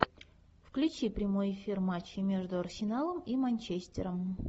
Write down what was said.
включи прямой эфир матча между арсеналом и манчестером